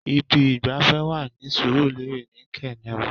Ibi ìgbafẹ́ wà ní Surulere ni Kernel.